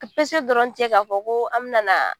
Pese dɔrɔn tɛ k'a fɔ ko an bɛna na